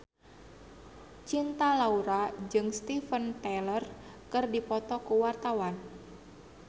Cinta Laura jeung Steven Tyler keur dipoto ku wartawan